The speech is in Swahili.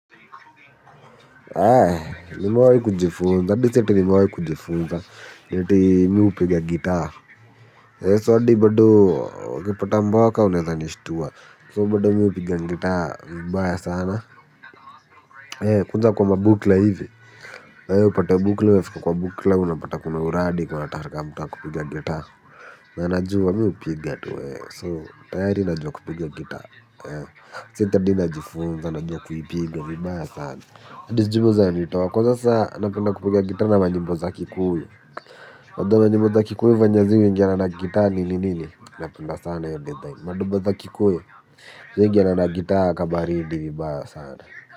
Eh nimewahi kujifunza, hadi si ati nimewahi kujifunza, eti mimi hupiga gitaa. Eh so hadi bado ukipata mboka unaeza nishtua, so bado mimi hupiga gitaa vibaya sana. Eee, kuja kwa mabukla hivi, heee, upate bukla umefika kwa bukla unapata kuna uradi kuna taharika mtu wa kupiga gitaa. Na najua mi hupiga tu, so tayari najua kupiga gitaa. Heee, si ati adi najifunza, najua kuipiga vibaya sana. Adi sijui boza alitoa kwanza saa napenda kupiga gitaa na nyimbo za kikuyu unajua manyimbo za kikuyu venye ziuingiana na gitaa nini nini. Napenda sana hiyo design Madoba za kikuyu ziuingana na gitaa kabaridi vibaya sana.